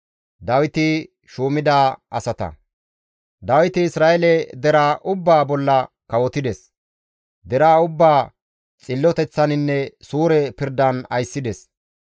Dawiti Isra7eele deraa ubbaa bolla kawotides; deraa ubbaa xilloteththaninne suure pirdan ayssides.